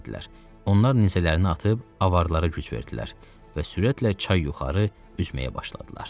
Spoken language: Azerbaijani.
Onlar nizələrini atıb avaralara güc verdilər və sürətlə çay yuxarı üzməyə başladılar.